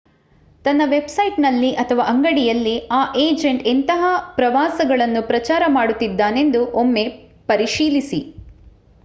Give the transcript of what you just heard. ತನ್ನ ವೆಬ್‍‌ಸೈಟ್‌ನಲ್ಲಿ ಅಥವಾ ಅಂಗಡಿಯಲ್ಲಿ ಆ ಎಜಂಟ್ ಎಂತಹ ಪ್ರವಾಸಗಳನ್ನು ಪ್ರಚಾರ ಮಾಡುತ್ತಿದ್ದಾನೆಂದು ಒಮ್ಮೆ ಪರಿಶೀಲಿಸಿ